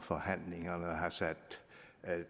forhandlingerne har sat